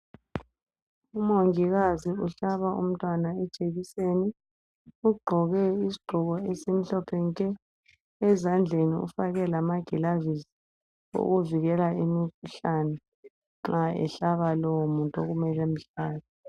Umongikazi uhlaba umntwana ijekiseni. Ugqoke isigqoko esimhlophe nke. Ezandleni ufake lamagilavisi okuvikela imikhuhlane nxa ehlaba lowumuntu okumele amhlabe.